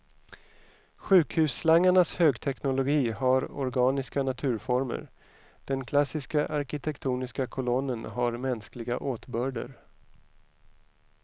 Sjukhusslangarnas högteknologi har organiska naturformer, den klassiskt arkitektoniska kolonnen har mänskliga åtbörder.